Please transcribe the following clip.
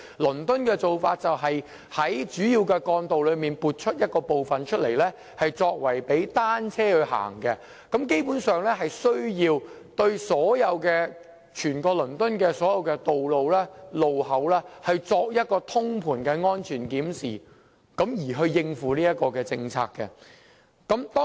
倫敦的做法是在主要幹道撥出一部分範圍供單車使用，基本上，當局有需要為此對整個倫敦的所有道路和路口進行通盤的安全檢視，藉以配合這項政策。